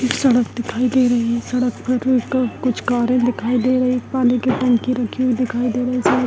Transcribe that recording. एक सड़क दिखाई दे रही सड़क कुछ कारे दिखाई दे रही | पानी की टंकी राखी हुई दिखाई दे रही है | सड़क --